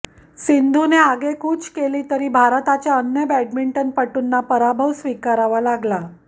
सिंधूने आगेकूच केली तरी भारताच्या अन्य बॅडमिंटनपटूंना पराभव स्वीकारावा लागला